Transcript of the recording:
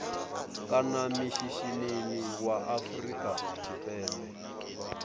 kana mishinini wa afrika tshipembe